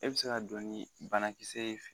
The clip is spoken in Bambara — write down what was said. E bɛ se ka donni banakisɛ y'i fɛ.